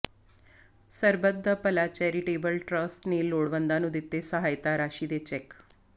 ਸਰਬੱਤ da Bhala charitable trust ਨੇ ਲੋੜਵੰਦਾਂ ਨੂੰ ਦਿੱਤੇ ਸਹਾਇਤਾ ਰਾਸ਼ੀ ਦੇ ਚੈੱਕ